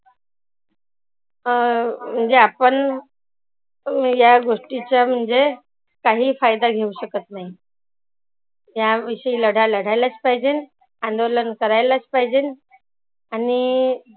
अं म्हणजे आपण या गोष्टींचा म्हणजे काही फायदा घेऊ शकत नाही. या विषयी लढा लढायलाचं पाहिजे. अंदोलन करायलाचं पाहीजे. आणि